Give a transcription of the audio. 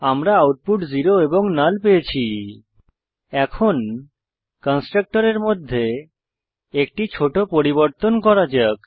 আমরা আউটপুট পেয়েছি 0 এবং নাল এখন কন্সট্রকটরের মধ্যে একটি ছোট পরিবর্তন করা যাক